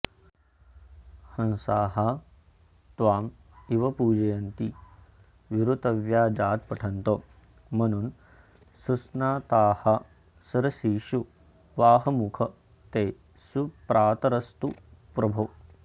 हंसास्त्वामिव पूजयन्ति विरुतव्याजात्पठन्तो मनून् सुस्नातास्सरसीषु वाहमुख ते सुप्रातरस्तु प्रभो